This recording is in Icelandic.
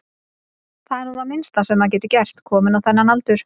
Það er nú það minnsta sem maður getur gert, kominn á þennan aldur.